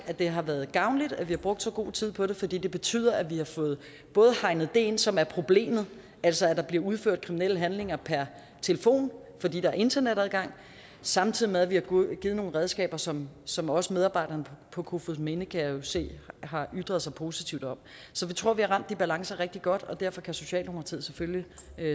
at det har været gavnligt at vi har brugt så god tid på det fordi det betyder at vi har fået hegnet det ind som er problemet altså at der bliver udført kriminelle handlinger per telefon fordi der er internetadgang samtidig med at vi har givet nogle redskaber som som også medarbejderne på kofoedsminde kan jeg jo se har ytret sig positivt om så vi tror vi har ramt de balancer rigtig godt og derfor kan socialdemokratiet selvfølgelig